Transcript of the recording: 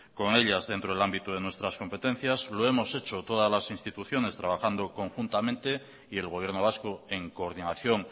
con ellas dentro del ámbito de nuestras competencias lo hemos hecho todas las instituciones trabajando conjuntamente y el gobierno vasco en coordinación